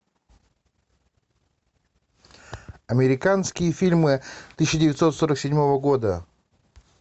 американские фильмы тысяча девятьсот сорок седьмого года